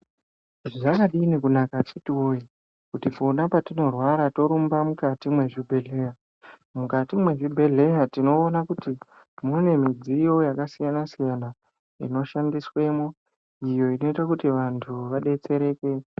Zvakadini kunaka akiti woye kuti pona patinorwara torumba mukati mwezvibhehleya, mukati mwezvibhehleya tinoona kuti mune midziyiyo yakasiyanasiyana inoshandiswemwo iyo inoite kuti vantu vadetsereke.